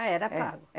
Ah, era pago? É.